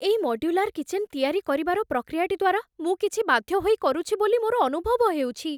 ଏଇ modular kitchen ତିଆରି କରିବାର ପ୍ରକ୍ରିୟାଟି ଦ୍ୱାରା ମୁଁ କିଛି ବାଧ୍ୟ ହୋଇ କରୁଛି ବୋଲି ମୋର ଅନୁଭବ ହେଉଛି।